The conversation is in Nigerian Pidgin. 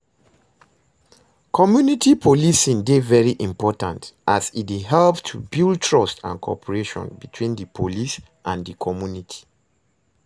Community policing dey very important as e dey help to build trust and cooperation between di police and di community.